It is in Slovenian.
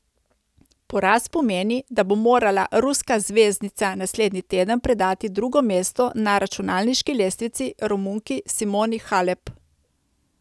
Poraz pomeni, da bo morala ruska zvezdnica naslednji teden predati drugo mesto na računalniški lestvici Romunki Simoni Halep.